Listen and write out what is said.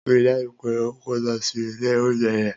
Rii daju pe o ko lọ si ile ounjẹ yẹn!